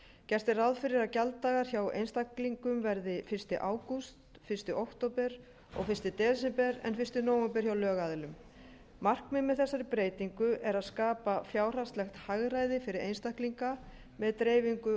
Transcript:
gert er ráð fyrir að gjalddagar hjá einstaklingum verði fyrsta ágúst fyrsta október og fyrsta desember en fyrsta nóvember hjá lögaðilum markmiðið með þessari breytingu er að skapa fjárhagslegt hagræði fyrir einstaklinga með dreifingu